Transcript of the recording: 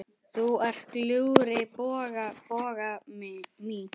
Þú ert glúrin, Bogga mín.